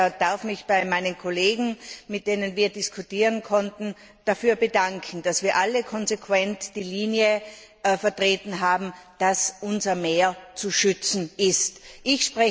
Ich darf mich bei meinen Kollegen, mit denen wir diskutieren konnten, dafür bedanken, dass wir alle konsequent die Linie vertreten haben, dass unsere Meere zu schützen sind.